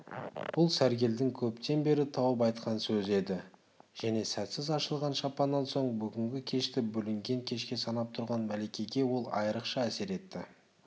бұл сәргелдің көптен бері тауып айтқан сөзі еді және сәтсіз ашылған шампаннан соң бүгінгі кешті бүлінген кешке санап тұрған мәликеге ол айрықша әсер етті